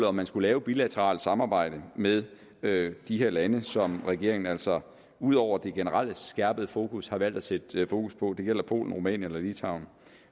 om man skulle lave bilateralt samarbejde med med de her lande som regeringen altså ud over det generelle skærpede fokus har valgt at sætte fokus på det gælder polen rumænien og litauen